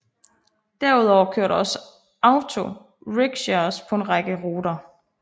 Derudover kører der også auto rickshaws på en række ruter